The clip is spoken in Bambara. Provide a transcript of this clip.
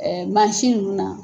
Ɛɛ mansin ninnu na